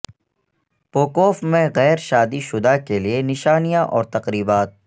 پوکوف میں غیر شادی شدہ کے لئے نشانیاں اور تقریبات